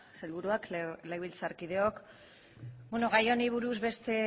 sailburuak legebiltzarkideok gai honi buruz beste